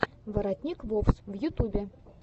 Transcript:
воротник вовс в ютюбе